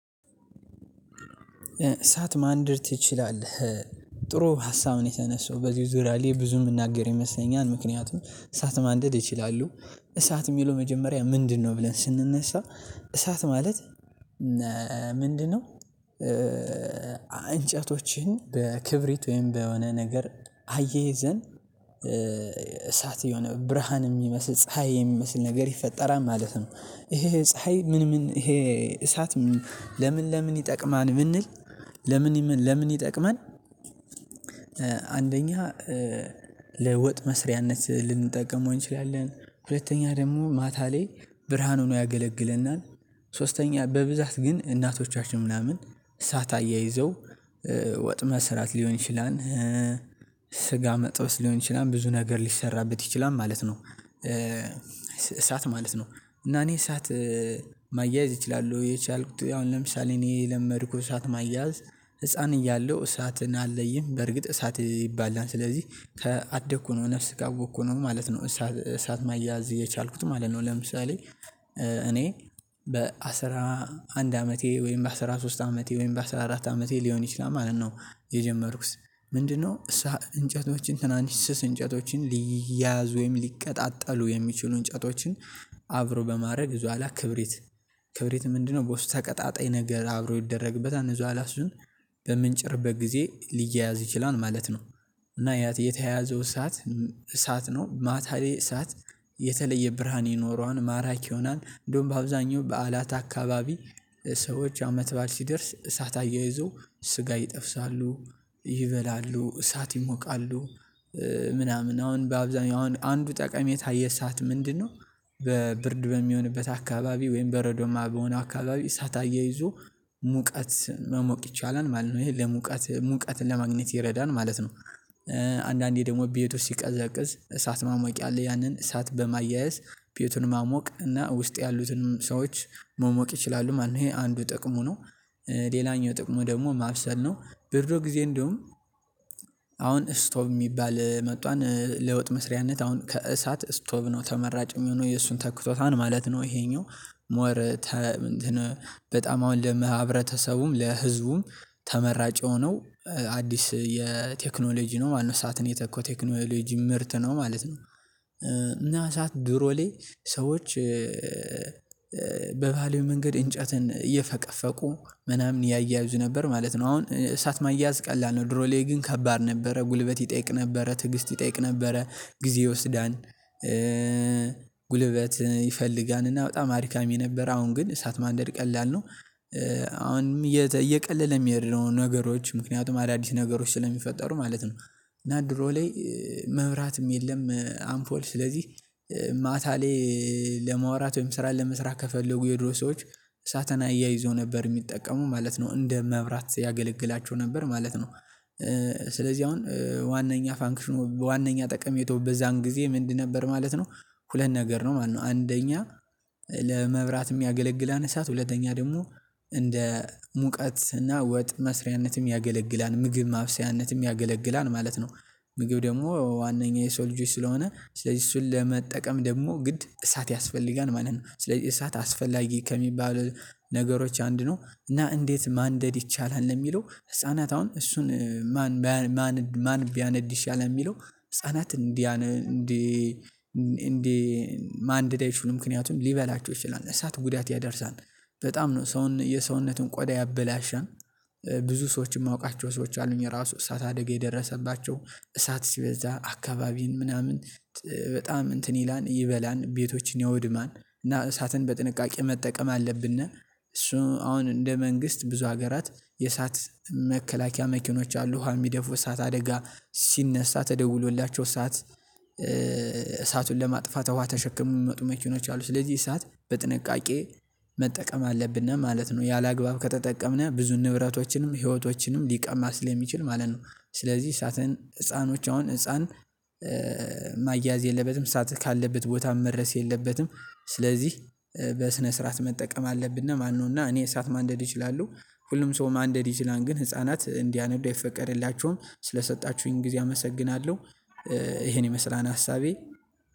እሳት ማንደድ ትችላለህ? ጥሩ ሀሳብ ነው የተነሰው በዚህ ዙሪያ ላይ ብዙ የምናገር ይመስለኛል። ምክንያቱም እሳት ማንደድ ይችላሉ እሳት የሚለው መጀመሪያ ምንድንነው ብለን ስንነሳ። እሳት ማለት ምንድንነው? እንጨቶችን በክብሪት ወይም በሆነ ነገር አያይዘን እሳት የሆነ ብርሃን የሚመስል ፀሀይ የሚመስል ነገር ይፈጠራል ማለት ነው። ይሄ ፀሀይ ምን ምን ይሄ እሳት? ለምን ለምን ይጠቅማል ብንል። ለምን ለምን ይጠቅማል? አንደኛ ለወጥ መሥሪያነት ልንጠቀመው እንችላለን። ሁለተኛ ደግሞ ማታ ላይ ብርሃን ሆኖ ያገለግለናል። ሶስተኛ በብዛት ግን እናቶቻችን ምናምን እሳት አያይዘው ወጥ መስራት ሊሆን ይችላል። ስጋ መጥበስ ሊሆን ይችላል ብዙ ነገር ሊሠራበት ይችላል ማለት ነው። ማለት ነው። እና እኔ እሳት ማያያዝ እችላለሁ የቻልኩት አሁን ለምሳሌ እኔ የለመድኩት እሳት ማያያዝ። ህፃን እያለሁ እሳትን አለይም በርግጥ እሳት ይባላል ስለዚህ ከአደኩ ነው ነፍስ ከአወቅኩ ነው ማለት ነው። እሳት እሳት ማያዝ የቻልኩት ማለት ነው። ለምሳሌ እኔ በአስራ አንድ አመቴ ወይም በአስራ ሶስት አመቴ ወይም በአስራ አራት አመቴ ሊሆን ይችላል ማለት ነው። የጀመርኩት ምንድንነው? እሳ እንጨቶችን ትናንሽ ስስ እንጨቶችን ሊያያዙኝ ሊቀጣጠሉ የሚችሉ እንጨቶችን። አብሮ በማድረግ እዛ በኋላ ክብሪት ክብሪት ምንድንነው? በውስጥ ተቀጣጣይ ነገር አብሮ ይደረግበታል እዛ በኋላ እሱን በምንጭርበት ጊዜ ሊያያዝ ይችላል ማለት ነው። እና ያ የተያያዘው እሳት እሳት ነው። ማታ ላይ እሳት የተለየ ብርሃን ይኖረዋል ማራኪ ይሆናል እንደውም በአብዛኛው በዓላት አካባቢ። ሰዎች አመት ባል ሲደርስ እሳት አያይዘው ስጋ ይጠብሳሉ። ይበላሉ እሳት ይሞቃሉ። ምናምን አሁን በአብዛኛው አሁን አንዱ ጠቀሜታ የእሳት ምንድንነው? በ ብርድ በሚሆንበት አካባቢ ወይም በረዶማ በሆነ አካባቢ እሳት አያይዞ ሙቀት መሞቅ ይቻላል ማለት ነው። ይሄ ለሙቀት ሙቀትን ለማግኘት ይረዳን ማለት ነው። አንዳንዴ ደግሞ ቤቱ ሲቀዘቅዝ እሳት ማሞቂያ አለ ያንን እሳት በማያያዝ ቤቱን ማሞቅ እና ውስጥ ያሉትንም ሰዎች መሞቅ ይችላሉ ማለት ነው። ይሄ አንዱ ጥቅሙ ነው። ሌላኛው ጥቅሙ ደግሞ ማብሰል ነው። በድሮ ጊዜ እንደውም አሁን ስቶቭ የሚባል መጥቷል ለወጥ መሥሪያነት አሁን ከእሳት ስቶቭ ነው ተመራጭ የሚሆነው የእሱን ተክቶታል ማለት ነው። ይሄኛው ሞር ተ እንትን በጣም አሁን ለመሃ ህብረተሰቡም ለህዝቡም ተመራጭ የሆነው አዲስ የቴክኖሎጂ ነው ማለት ነው እሳትን የተከው ቴክኖሎጂ ምርት ነው ማለት ነው። እና እሳት ድሮ ላይ ሰዎች በባህላዊ መንገድ እንጨትን እየፈቀፈቁ ምናምን ያያይዙ ነበር ማለት ነው። አሁን እሳት ማያያዝ ቀላል ነው። ድሮ ላይ ግን ከባድ ነበረ ጉልበት ይጠይቅ ነበረ ትዕግስት ይጠይቅ ነበረ። ጊዜ ይወስዳል። ጉልበት ይፈልጋል እና በጣም አድካሚ ነበር አሁን ግን እሳት ማንደድ ቀላል ነው። አሁንም እየቀለለ የሚሄድ ነው ነገሮች ምክንያቱም አዳዲስ ነገሮች ስለሚፈጠሩ ማለት ነው። እና ድሮ ላይ መብራትም የለም። አንፖል ስለዚህ ማታ ላይ ለማውራት ወይም ስራ ለመስራት ከፈለጉ የድሮ ሰዎች እሳትን አያይዞ ነበር የሚጠቀሙ ማለት ነው እንደ መብራት ያገለግላቸው ነበር ማለት ነው። ስለዚህ አሁን ዋነኛ ፋንክሽኑ ዋናኛ ጠቀሜታው በዛን ጊዜ ምንድን ነበር ማለት ነው። ሁለት ነገር ነው ማለት ነው። አንደኛ ለመብራት ያገለግላል እሳት ሁለተኛ ደግሞ እንደ ሙቀት እና ወጥ መሥሪያነትም ያገለግላል ምግብ ማብሰያነትም ያገለግላል ማለት ነው። ምግብ ደግሞ ዋነኛ የሰው ልጆች ስለሆነ ስለዚህ እሱን ለመጠቀም ደግሞ ግድ እሳት ያስፈልጋል ማለት ነው። ስለዚህ እሳት አስፈላጊ ከሚባል ነገሮች አንድ ነው። እና እንዴት ማንደድ ይቻላል? ለሚለው ህፃናት አሁን እሱን ማን ማን ማን ቢያነድ ይሻላል ይላል የሚለው። ህፃናት እንዲያነ እንዲ እንዲ ማንደድ አይችሉም ምክንያቱም ሊበላቸው ይችላል እሳት ጉዳት ያደርሳል። በጣም ነው ሰውን የሰውነቱን ቆዳ ያበላሸል። ብዙ ሰዎች የማውቃቸው ሰዎች አሉኝ ራሱ እሳት አደጋ የደረሰባቸው እሳት ሲበዛ አካባቢን ምናምን በጣም እንትን ይላን ይበላል ቤቶችን ያወድማል እና እሳትን በጥንቃቄ መጠቀም አለብን። እሱ አሁን እንደ መንግስት ብዙ ሀገራት የእሳት መከላከያ መኪኖች አሉ ዉሃን የሚደፉ እሳት አደጋ ሲነሳ ተደውሎላቸው እሳት እሳቱን ለማጥፋት ውሃ ተሸክመው የሚመጡ መኪኖች አሉ ስለዚህ ሰዓት በጥንቃቄ መጠቀም አለብን ማለት ነው። ያለአግባብ ከተጠቀምነው ብዙ ንብረቶችንም ህይወቶችንም ሊቀማ ሰለሚችል ማለት ነው። ስለዚህ እሳትን ህፃኖች አሁን ህፃን የለበትም ሰዓት ካለበት ቦታም መድረስ የለበትም። ስለዚህ በስነ ስርዓት መጠቀም አለብን። ማነው እና እኔ እሳት ማንደድ ይችላሉ? ሁሉም ሰው ማንደድ ይችላል ግን ህፃናት እንዲያነዳ አይፈቀድላቸውም ስለሰጣችሁኝ ጊዜ አመሰግናለሁ። ይሄን ይመስላል ሐሳቤ